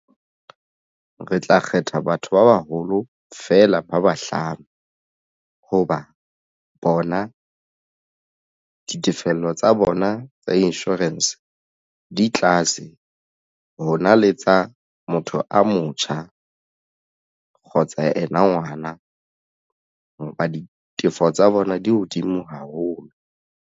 Re tla kgetha batho ba baholo feela ba bahlano hoba bona ditefello tsa bona tsa insurance di tlase ho na le tsa motho a motjha kgotsa ena ngwana ditefo tsa bona di hodimo haholo.